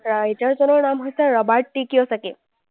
writer জনৰ নাম হৈছে ৰবাৰ্ট টি কিয়চাকি।